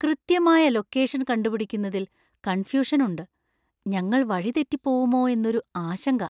കൃത്യമായ ലൊക്കേഷൻ കണ്ടുപിടിക്കുന്നതിൽ കണ്‍ഫ്യൂഷന്‍ ഉണ്ട്. ഞങ്ങൾ വഴി തെറ്റിപ്പോവുമോ എന്നൊരു ആശങ്ക.